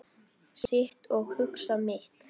Sit og hugsa mitt.